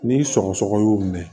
Ni sɔgɔsɔgɔ y'u minɛ